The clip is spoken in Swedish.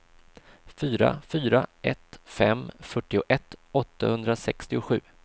fyra fyra ett fem fyrtioett åttahundrasextiosju